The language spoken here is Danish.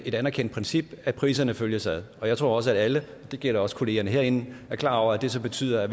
et anerkendt princip at priserne følges ad og jeg tror også at alle det gælder også kollegaerne herinde er klar over at det så betyder